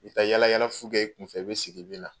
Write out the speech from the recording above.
I be taa yala yala fu kɛ i kunfɛ, i be segin , i be na .